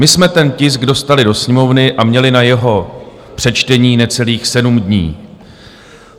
My jsme ten tisk dostali do Sněmovny a měli na jeho přečtení necelých sedm dní.